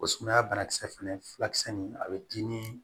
O sumaya banakisɛ fɛnɛ fila kisɛ nin a bɛ di ni